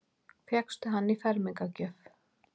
Fékkstu hann í fermingargjöf?